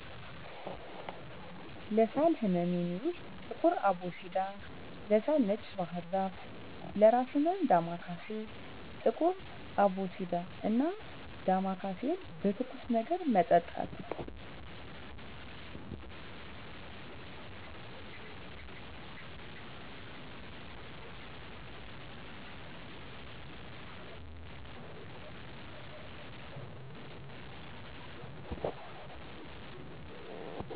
ለሳል ህመም የሚውል ጥቁር አቦሲዳ, ለሳል ነጭ ባህርዛፍ ,ለእራስ ህመም ዳማካሴ። ጥቁር አቦሲዳን እና ዳማካሴን በትኩስ ነገር መጠጣት።